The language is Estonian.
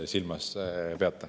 Ma ei tea, mida te silmas peate.